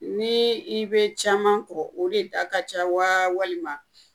Ni i be caman kɔ, o de da ka ca wa walima ?